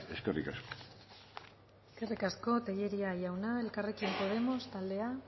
eskerrik asko eskerrik asko tellería jauna elkarrekin podemos taldea